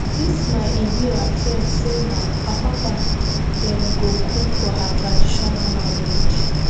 this my ebira friend say na apapa dem go cook for her traditional marriage